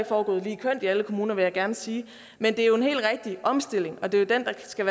foregået lige kønt i alle kommuner vil jeg gerne sige men det er jo en helt rigtig omstilling og det er jo den der skal